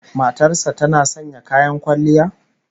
Matar sa tana sanya kayan kwalliya?